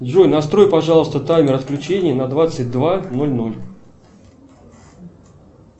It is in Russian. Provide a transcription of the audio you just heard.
джой настрой пожалуйста таймер отключения на двадцать два ноль ноль